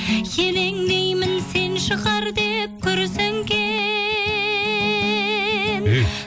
елеңдеймін сен шығар деп күрсінген